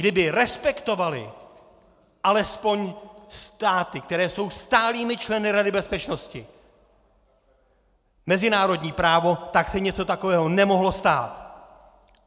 Kdyby respektovaly alespoň státy, které jsou stálými členy Rady bezpečnosti, mezinárodní právo, tak se něco takového nemohlo stát!